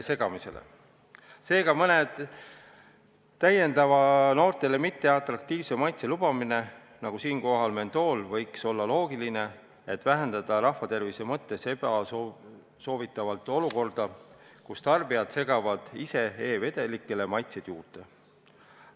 Seega võiks olla loogiline lubada mõnd täiendavat noortele mitteatraktiivset maitset, nagu näiteks mentool – see leevendaks rahva tervise mõttes ebasoovitavat olukorda, kus tarbijad segavad ise e-vedelikke, et neile maitset anda.